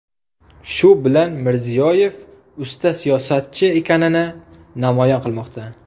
Shu bilan Mirziyoyev usta siyosatchi ekanini namoyon qilmoqda.